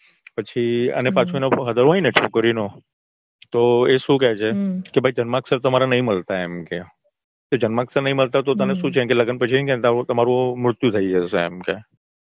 પછી અને પાછું એના father હોય ને છોકરીનો તો એ શું કે છે કે ભઈ જન્માક્ષર તમારા નઈ મલતા એમ કે જન્માક્ષર નઈ મળતા તો તને શું છે લગ્ન પછી એવું કેસે તમારું મૃત્યુ થઇ જશે